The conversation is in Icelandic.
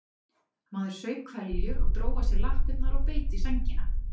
Maður saup hveljur og dró að sér lappirnar og beit í sængina.